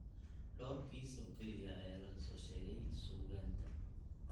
Dhowr kiis oo keliya ayaa laga soo sheegay suugaanta.